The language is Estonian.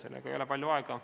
Selleks ei ole palju aega.